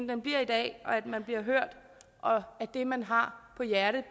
den bliver i dag og at man bliver hørt og at det man har på hjerte